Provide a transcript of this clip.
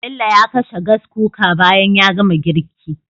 Bello ya kashe Gas Cooker bayan ya gama girki